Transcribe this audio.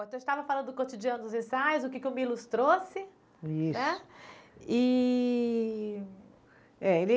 Eu estava falando do cotidiano dos ensaios, o que que o Milos trouxe. Isso. Né e. Eh ele